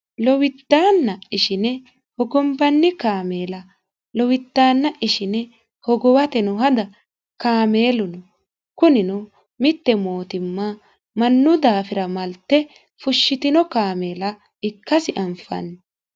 lowiddanna ishine hogombanni kaameela lowiddaanna ishine hogowateno hada kaameellu no kunino mitte mootimma mannu daafira malte fushshitino kaameela ikkasi anfanni